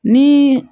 Ni